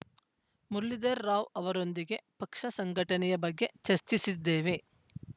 ಮುರಳೀಧರರಾವ್‌ ಅವರೊಂದಿಗೆ ಪಕ್ಷ ಸಂಘಟನೆಯ ಬಗ್ಗೆ ಚರ್ಚಿಸಿದ್ದೇವೆ